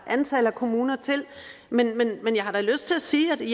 antallet af kommuner men jeg har lyst til at sige at vi